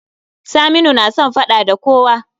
Saminu na son faɗa da kowa